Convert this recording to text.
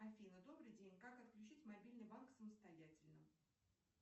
афина добрый день как отключить мобильный банк самостоятельно